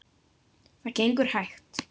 Það gengur hægt.